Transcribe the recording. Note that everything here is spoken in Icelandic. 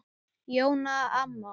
Jóna amma.